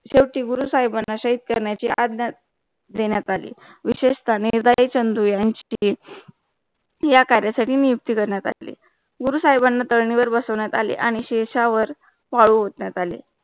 शवेटी गुरु साहिबांना शेत करण्याची अध्ण्यान देण्या टाळी विशेषता निर्धय चंदू यांची या कार्यसाठी नियुक्ती करण्यात आली. गुरु साहिबांना तारणीवर बसवण्यात आले आणि शिरश्यावर वाळू ओतण्यात आले